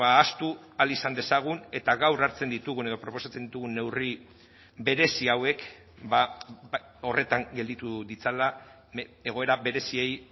ahaztu ahal izan dezagun eta gaur hartzen ditugun edo proposatzen ditugun neurri berezi hauek horretan gelditu ditzala egoera bereziei